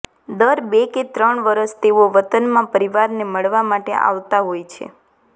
દર બે કે ત્રણ વર્ષે તેઓ વતનમાં પરિવારને મળવા માટે આવતાં હોય છે